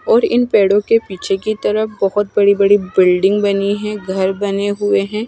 और इन पेड़ों के पीछे की तरफ बहोत बड़ी बड़ी बिल्डिंग बनी है घर बने हुए है।